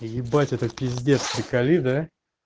и ебать это пиздец приколи да